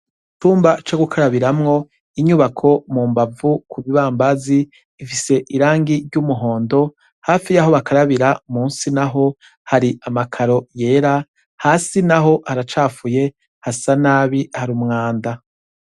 Icumba co gukarabiramwo, inyubako mumbavu kubibambazi bifise irangi ry’umuhondo hafi yaho bakarabira, munsi naho hari amakaro yera, hasi naho haracafuye harumwanda.